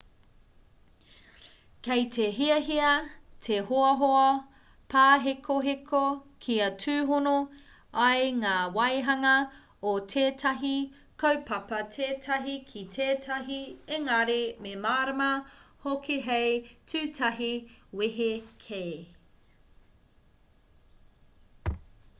kei te hiahia te hoahoa pāhekoheko kia tūhono ai ngā waehanga o tētahi kaupapa tētahi ki tētahi engari me mārama hoki hei tūtahi wehe kē